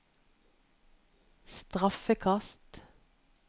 straffekast